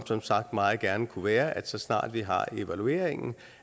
som sagt meget gerne kunne være at så snart vi har evalueringen